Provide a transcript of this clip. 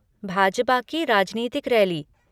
भा.ज.पा. की राजनीतिक रैली।